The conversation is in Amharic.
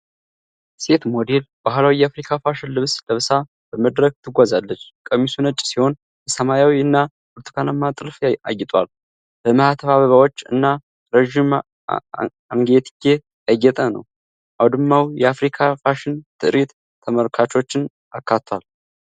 ሴት ሞዴል ባሕላዊ የአፍሪካ ፋሽን ልብስ ለብሳ በመድረክ ትጓዛለች። ቀሚሱ ነጭ ሲሆን በሰማያዊ እና ብርቱካናማ ጥልፍ አጌጧል። በማኅተብ አበባዎች እና ረዥም አንገትጌ ያጌጠ ነው። አውድማው የ አፍሪካ ፋሽን ትርዒት ተመልካቾችን አካቷል።